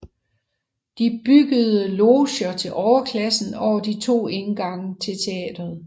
De byggede loger til overklassen over de to indgange til teatret